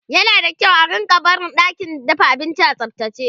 yana da kyau a rinka barin ɗakin dafa abinci a tsaftace